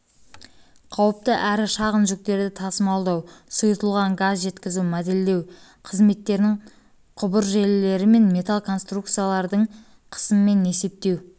қауіпті әрішағын жүктерді тасымалдау сұйытылған газ жеткізу модельдеу қызметтерін құбыржелілері мен метал конструкциялардың қысымын есептеу